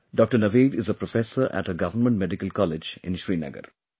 Dr Naveed is a professor at a Government Medical College in Srinagar